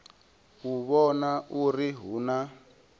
u vhona uri hu na